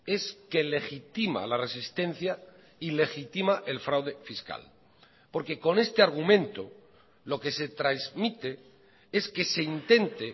es que legitima la resistencia y legitima el fraude fiscal porque con este argumento lo que se trasmite es que se intente